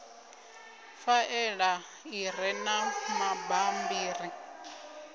faela i re na mabammbiri